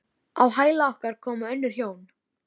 Ég var að lesa um þetta í Mogganum um daginn.